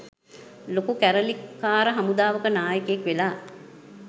ලොකු කැරලිකාර හමුදාවක නායකයෙක් වෙලා.